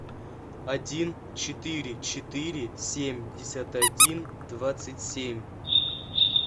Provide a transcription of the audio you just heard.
один четыре четыре семьдесят один двадцать семь